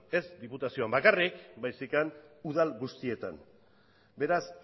ez diputazioan bakarrik baizik eta udal guztietan beraz